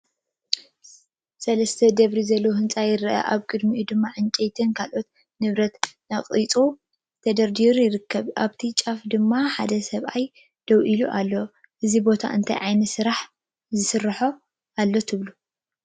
ሰለስተ ደርቢ ዘለዎ ህንጻ ይርአ። ኣብ ቅድሚኡ ድማ ዕንጨይትን ካልእ ንብረትን ነቒጹን ተደራሪቡን ይርከብ። ኣብቲ ጫፍ ድማ ሓደ ሰብኣይ ደው ኢሉ ኣሎ። እዚ ቦታ እንታይ ዓይነት ስራሕ ይሰርሕ ኣሎ ትብሉ?